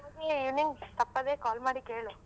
ನಿನ್ ತಪ್ಪದೇ call ಮಾಡಿ ಕೇಳು.